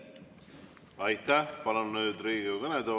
Aitäh!